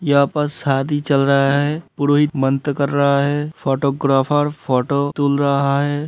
यहाँ पर शादी चल रहा है पुरोहित मन्त्र कर रहा है फोटोग्राफर फोटो तुल रहा है।